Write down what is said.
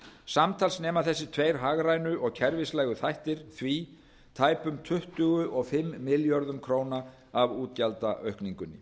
samtals nema þessir tveir hagrænu og kerfislægu þættir því tæpum tuttugu og fimm milljörðum króna af útgjaldaaukningunni